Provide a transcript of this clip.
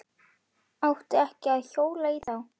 Átti ekki að hjóla í þá.